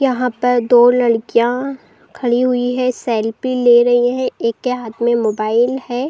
यहाँ पर दो लड़कियाॅं खड़ी हुई हैं। सेल्फी ले रही है। एक हाथ में मोबाइल है।